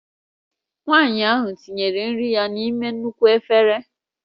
Nwanyị ahụ tinyere nri ya n'ime nnukwu efere